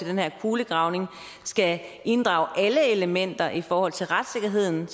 den her kulegravning skal inddrage alle elementer i forhold til retssikkerheden